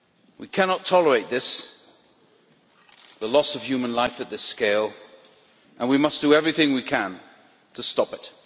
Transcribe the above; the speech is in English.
We cannot tolerate this, the loss of human life on this scale, and we must do everything we can to stop it.